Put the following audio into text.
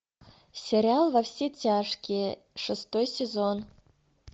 сериал во все тяжкие шестой сезон